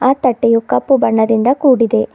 ಆ ತಟ್ಟೆಯು ಕಪ್ಪು ಬಣ್ಣದಿಂದ ಕೂಡಿದೆ.